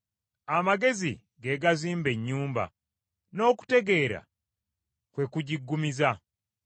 Amagezi ge gazimba ennyumba, n’okutegeera kwe kugiggumiza.